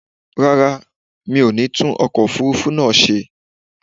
Rárá, mi ọ̀ ní tún ọkọ̀ òfurufú náà ṣe.